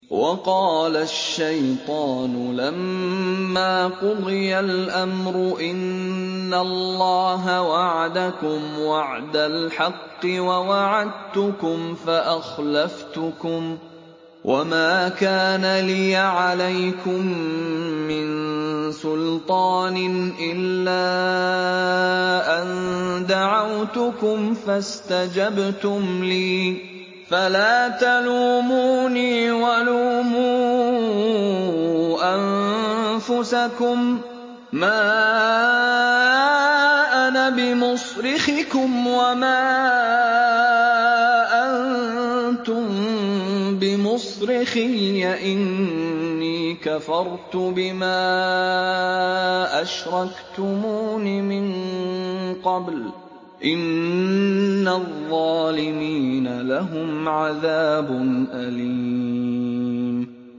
وَقَالَ الشَّيْطَانُ لَمَّا قُضِيَ الْأَمْرُ إِنَّ اللَّهَ وَعَدَكُمْ وَعْدَ الْحَقِّ وَوَعَدتُّكُمْ فَأَخْلَفْتُكُمْ ۖ وَمَا كَانَ لِيَ عَلَيْكُم مِّن سُلْطَانٍ إِلَّا أَن دَعَوْتُكُمْ فَاسْتَجَبْتُمْ لِي ۖ فَلَا تَلُومُونِي وَلُومُوا أَنفُسَكُم ۖ مَّا أَنَا بِمُصْرِخِكُمْ وَمَا أَنتُم بِمُصْرِخِيَّ ۖ إِنِّي كَفَرْتُ بِمَا أَشْرَكْتُمُونِ مِن قَبْلُ ۗ إِنَّ الظَّالِمِينَ لَهُمْ عَذَابٌ أَلِيمٌ